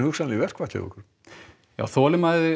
í verkfall þolinmæði